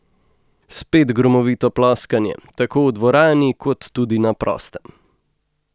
Spet gromovito ploskanje, tako v dvorani kot tudi na prostem.